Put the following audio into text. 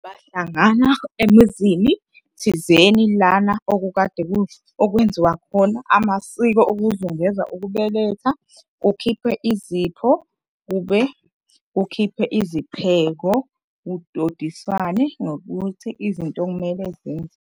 Bahlangana emizini thizeni lana okukade okwenziwa khona amasiko okuzungeza ukubeletha, kukhiphwe izipho, kukhiphwe izipheko, kudodiswane nokuthi izinto okumele .